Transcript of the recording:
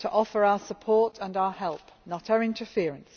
to offer our support and our help not our interference.